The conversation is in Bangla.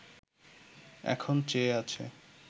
এখন চেয়ে আছে